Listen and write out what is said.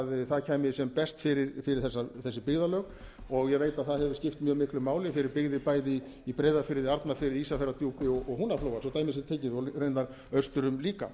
það kæmi sem best fyrir þessi byggðarlög og ég veit að það hefur skipt mjög miklu máli fyrir byggðir bæði i breiðafirði arnarfirði ísafjarðardjúpi og húnaflóa svo dæmi sé tekið og raunar austur um líka